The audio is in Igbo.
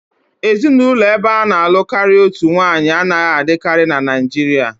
Ezinụlọ ebe ana-alụ karịa otu nwanyị anaghị adịkarị na Naịjirịa